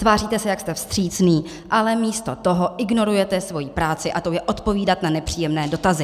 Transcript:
Tváříte se, jak jste vstřícný, ale místo toho ignorujete svoji práci, a tou je odpovídat na nepříjemné dotazy.